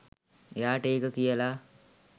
එයාට ඒක කියලා